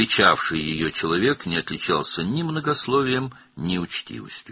Onu qarşılayan adam nə çox danışmaqla, nə də nəzakətlə seçilirdi.